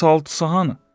Bəs altısı hanı?